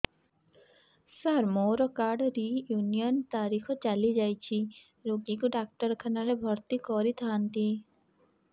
ସାର ମୋର card renew ତାରିଖ ଚାଲି ଯାଇଛି ରୋଗୀକୁ ଡାକ୍ତରଖାନା ରେ ଭର୍ତି କରିଥାନ୍ତି